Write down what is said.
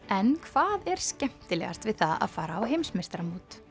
en hvað er skemmtilegast við það að fara á heimsmeistaramót